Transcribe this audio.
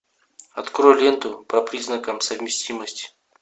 открой ленту по признакам совместимости